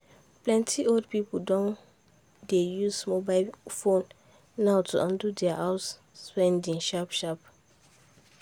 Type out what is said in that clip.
plenty old people don dey use mobile phone now to handle their house spendings sharp sharp.